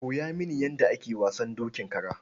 Koya mini yadda ake wasan dokin kara.